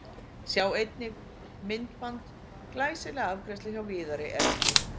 Sjá einnig: Myndband: Glæsileg afgreiðsla hjá Viðari Erni